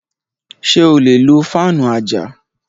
Ṣé o lè lo fáànù àjà